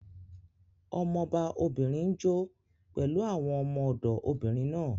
Ọmọba obìnrin n jó pẹ̀lú àwọn ọmọ-ọ̀dọ̀ obìnrin náà